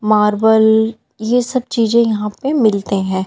Marble ये सब चीजे यहां पे मिलते हैं।